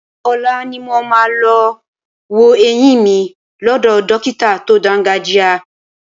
Ọ̀la ni mo máa lọ wo eyín mi lọ́dọ̀ dọ́kítà tó dáńgájíá.